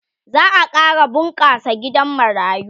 za'a ƙara bunƙasa gidan marayu